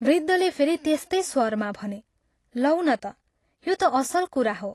वृद्धले फेरि त्यस्तै स्वरमा भने, "लौ न त, यो ता असल कुरा हो।